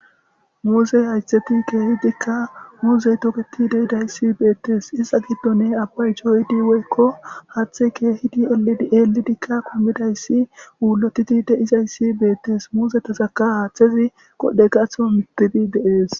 Muzze haytheti kehidikka muzze toketidayssi bettes.iza giddon abay coyidi woyko haththey kehidi ellidi kummidayssi ullotidi dizayssj bettes.muzzetazaka haththey qodhdhe gatho mittides.